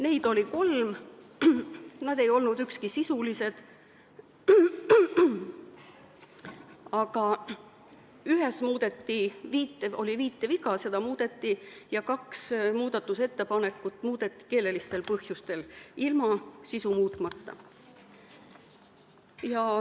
Neid oli kolm, need ei olnud sisulised, aga ühe muudatusettepaneku põhjuseks oli viiteviga ja kaks muudatusettepanekut tehti keelelistel põhjustel, sisu muutmata.